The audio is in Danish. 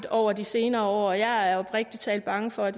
over de senere år jeg er oprigtig talt bange for at